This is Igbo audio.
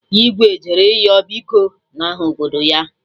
Igwe jere ịyọ biko n'aha obodo ya